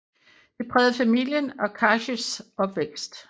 Det prægede familien og Karshs opvækst